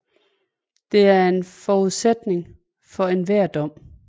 De er en forudsætning for enhver dom